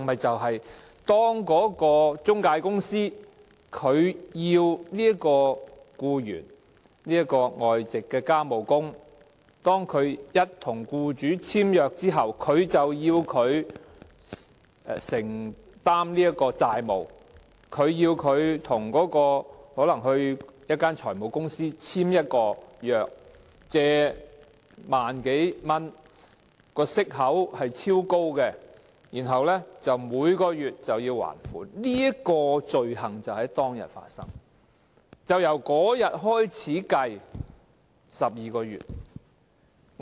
便是中介公司在外傭與僱主簽約後，要求他們承擔債務，可能是要他們到財務公司簽署借貸合約，以超高息率借貸1萬多元，然後須每月還款，這項罪行便是在當天發生，是由這天開始計算12個月。